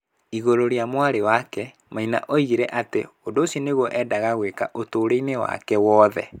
Igũrũ rĩa mwarĩ wake, Maina oigire atĩ ũndũ ũcio nĩguo eendaga gwĩka ũtũũro-inĩ wake wothe.